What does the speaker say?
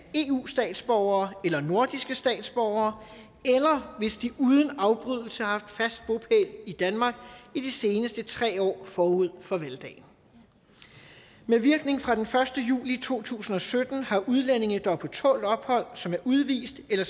eu statsborgere eller nordiske statsborgere eller hvis de uden afbrydelse har haft fast bopæl i danmark i de seneste tre år forud for valgdagen med virkning fra den første juli to tusind og sytten har udlændinge der er på tålt ophold og som er udvist eller